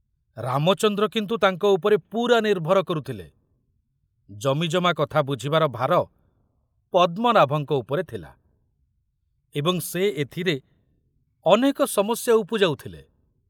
ରାମଚନ୍ଦ୍ର କିନ୍ତୁ ତାଙ୍କ ଉପରେ ପୁରା ନିର୍ଭର କରୁଥିଲେ, ଜମିଜମା କଥା ବୁଝିବାର ଭାର ପଦ୍ମନାଭଙ୍କ ଉପରେ ଥିଲା ଏବଂ ସେ ଏଥିରେ ଅନେକ ସମସ୍ୟା ଉପୁଜାଉଥିଲେ।